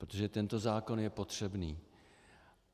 Protože tento zákon je potřebný.